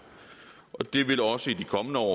og det vil også i de kommende år